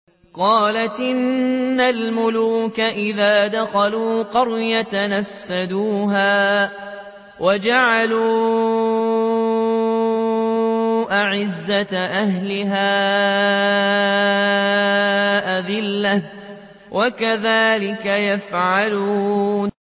قَالَتْ إِنَّ الْمُلُوكَ إِذَا دَخَلُوا قَرْيَةً أَفْسَدُوهَا وَجَعَلُوا أَعِزَّةَ أَهْلِهَا أَذِلَّةً ۖ وَكَذَٰلِكَ يَفْعَلُونَ